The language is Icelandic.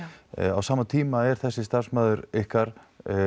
á sama tíma er þessi starfsmaður ykkar